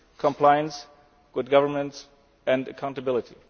diligence, compliance, good governance and accountability.